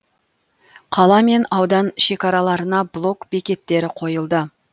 қала мен аудан шекараларына блок бекеттері қойылды